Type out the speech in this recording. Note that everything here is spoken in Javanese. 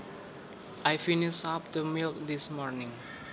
I finished up the milk this morning